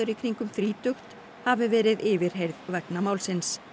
í kringum þrítugt hafi verið yfirheyrð vegna málsins